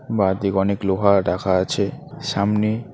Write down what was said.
বাঁ দিক অনেক লোহা রাখা আছে সামনে--